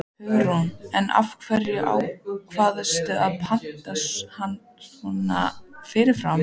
Hugrún: En af hverju ákvaðstu að panta hann svona fyrirfram?